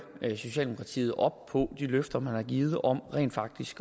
socialdemokratiet op på de løfter man har givet om rent faktisk